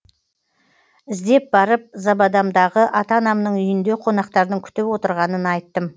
іздеп барып забадамдағы ата анамның үйінде қонақтардың күтіп отырғанын айттым